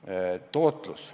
Nüüd tootlusest.